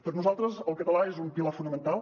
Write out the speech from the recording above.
per nosaltres el català és un pilar fonamental